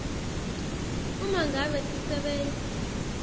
uma ngabe sisebenti